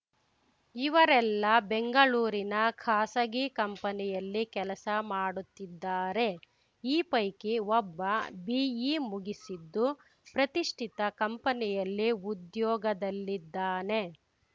ಇವರೆಲ್ಲ ಬೆಂಗಳೂರಿನ ಖಾಸಗಿ ಕಂಪನಿಯಲ್ಲಿ ಕೆಲಸ ಮಾಡುತ್ತಿದ್ದಾರೆ ಈ ಪೈಕಿ ಒಬ್ಬ ಬಿಇ ಮುಗಿಸಿದ್ದು ಪ್ರತಿಷ್ಠಿತ ಕಂಪನಿಯಲ್ಲಿ ಉದ್ಯೋಗದಲ್ಲಿದ್ದಾನೆ